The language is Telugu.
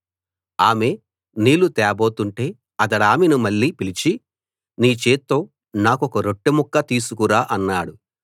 ఆమె నీళ్లు తేబోతుంటే అతడామెను మళ్ళీ పిలిచి నీ చేత్తో నాకొక రొట్టె ముక్క తీసుకు రా అన్నాడు